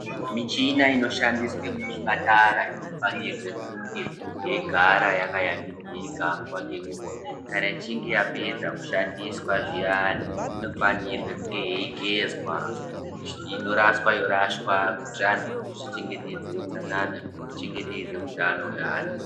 Michina inoshandiswe muzvipatara, inofanirwe kunge yeyigara yakayambidzika nguwa ngenguwa. Kana ichinge yapedza kushandiswa zviyane, inofanirwe kunge yeyigezwa, inorashwa yorashwa, kuyitira anhu kuti zvichengetedze wutsanana, ichengetedze wutano we anhu.